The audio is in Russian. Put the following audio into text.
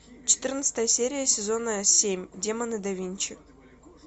четырнадцатая серия сезона семь демоны да винчи